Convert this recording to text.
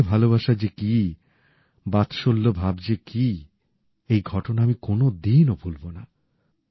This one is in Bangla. মায়ের ভালোবাসা যে কি বাৎসল্য ভাব যে কি এই ঘটনা আমি কোনদিনও ভুলব না